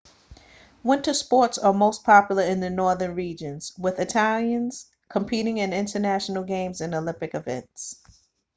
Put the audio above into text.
winter sports are most popular in the northern regions with italians competing in international games and olympic events